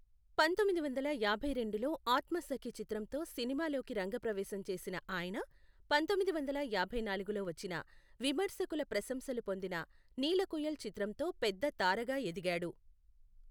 పంతొమ్మిది వందల యాభై రెండులో ఆత్మసఖి చిత్రంతో సినిమాలోకి రంగప్రవేశం చేసిన ఆయన, పంతొమ్మిది వందల యాభై నాలుగులో వచ్చిన విమర్శకుల ప్రశంసలు పొందిన నీలకుయిల్ చిత్రంతో పెద్ద తారగా ఎదిగాడు.